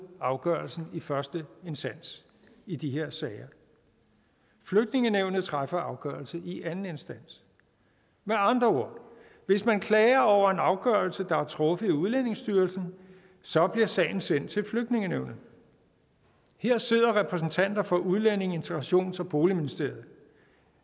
afgørelsen i første instans i de her sager flygtningenævnet træffer så afgørelse i anden instans med andre ord hvis man klager over en afgørelse der er truffet i udlændingestyrelsen så bliver sagen sendt til flygtningenævnet her sidder repræsentanter for udlændinge integrations og boligministeriet